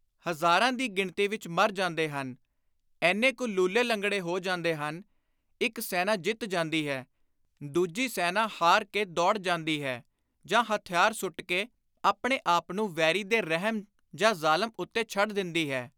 ਹਜ਼ਾਰਾਂ ਦੀ ਗਿਣਤੀ ਵਿਚ ਮਰ ਜਾਂਦੇ ਹਨ; ਏਨੇ ਕੁ ਲੁਲੇ-ਲੰਗੜੇ ਹੋ ਜਾਂਦੇ ਹਨ; ਇਕ ਸੈਨਾ ਜਿੱਤ ਜਾਂਦੀ ਹੈ; ਦੁਜੀ ਸੈਨਾ ਹਾਰ ਕੇ ਦੌੜ ਜਾਂਦੀ ਹੈ ਜਾਂ ਹਥਿਆਰ ਸੁੱਟ ਕੇ ਆਪਣੇ ਆਪ ਨੂੰ ਵੈਰੀ ਦੇ ਰਹਿਮ ਜਾਂ ਜ਼ਲਮ ਉੱਤੇ ਛੱਡ ਦਿੰਦੀ ਹੈ।